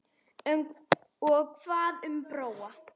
Og hvað um Bróa?